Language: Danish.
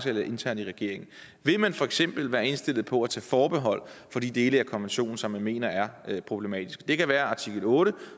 eller internt i regeringen vil man for eksempel være indstillet på at tage forbehold for de dele af konventionen som man mener er problematiske det kan være artikel otte